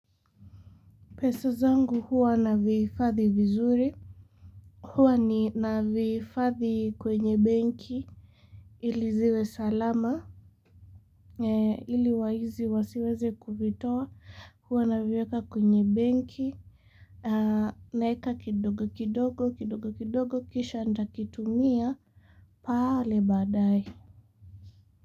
Peso zangu huwa navi hifadhi vizuri, huwa ni navi hifadhi kwenye benki, ili ziwe salama, ili waizi wasiweze kuvitoa, huwa naviweka kwenye benki, naeka kidogo kidogo kidogo kidogo kisha nitakitumia, pale badaye.